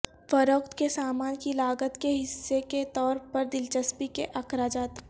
فروخت کے سامان کی لاگت کے حصے کے طور پر دلچسپی کے اخراجات